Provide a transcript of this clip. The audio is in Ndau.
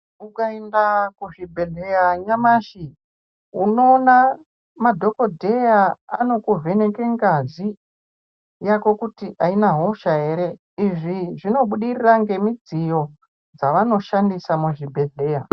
Ukaenda kuzvibhehleya nyamashi unoona madhokodheya anokuvheneka ngazi yako kuti aina hosha ere. Izvi zvinobudirira nemichini yavo yevanoshandisa muzvibhehleya.